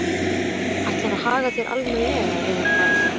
Ætlarðu að haga þér almennilega, eða hvað?